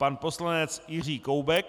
Pan poslanec Jiří Koubek.